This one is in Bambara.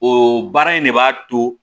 O baara in de b'a to